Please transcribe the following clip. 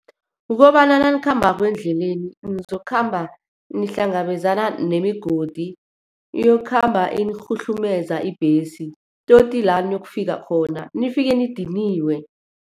Kukobana nanikhambako endleleni, nizokukhamba nihlangabezana nemigodi. Iyokukhamba inirhuhlumeza ibhesi todi la eniyokufika khona, nifike nidiniwe.